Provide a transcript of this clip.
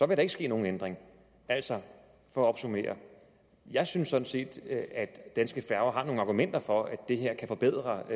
der ikke ske nogen ændring altså for at opsummere jeg synes sådan set at danske færger har nogle argumenter for at det her kan forbedre